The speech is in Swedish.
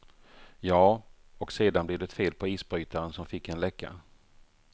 Jaa, och sedan blev det fel på isbrytaren som fick en läcka.